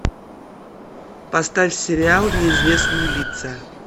поставь сериал неизвестные лица